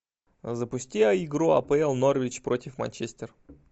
запусти игру апл норвич против манчестер